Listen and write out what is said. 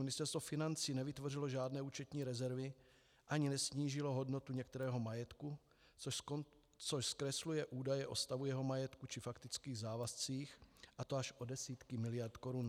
Ministerstvo financí nevytvořilo žádné účetní rezervy ani nesnížilo hodnotu některého majetku, což zkresluje údaje o stavu jeho majetku či faktických závazcích, a to až o desítky miliard korun.